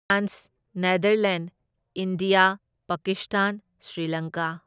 France, Netherlands, India, Pakistan, Sri Lanka.